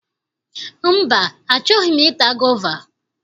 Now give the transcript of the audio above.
Mba, achọghi m i ta gova.